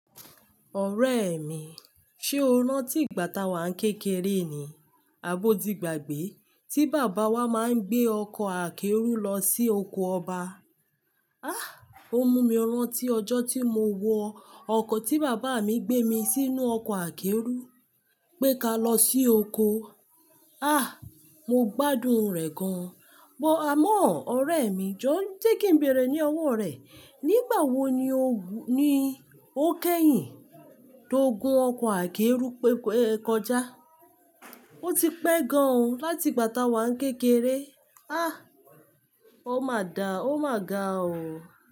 Ọ̀rẹ́ mi, ṣe o rántí ìgbà táa wa ń kékeré ni, àbó tí gbàgbé tí bàbá wa máa ń gbé ọkọ̀ akẹ́rù lọ sí oko ọba? Ó mú mi rántí ọjọ́ tí mo wọ ọkọ̀ tí bàbá mi gbé mi sínú ọkọ̀ akẹ́rù, pé ká lọ sí oko. Ah! Mo gbádùn rẹ̀ gan. Bọ àmọ́, ọ̀rẹ́ mi, jọ́, jẹ́ kí n bẹ̀rẹ̀ ní ọwọ́ rẹ, nígbà wo ni o ni ó kẹ́yìn tó gun ọkọ̀ akẹ́rù kọjá? O ti pẹ́ gan ó láti ìgbà táa wa ń kékeré. O máa da, o máa ga o.